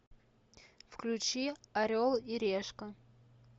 включи орел и решка